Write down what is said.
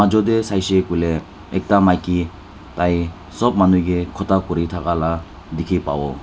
ejo te saise koile ekta maiki tai sop manu ke khota kori thaka laga dekhi pabo.